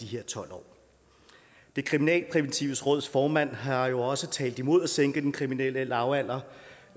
her tolv år det kriminalpræventive råds formand har jo også talt imod at sænke den kriminelle lavalder